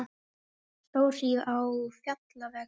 Stórhríð á fjallvegum